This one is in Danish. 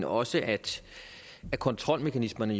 også at kontrolmekanismerne